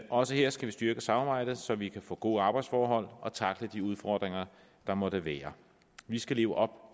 også her skal vi styrke samarbejdet så vi kan få gode arbejdsforhold og tackle de udfordringer der måtte være vi skal leve op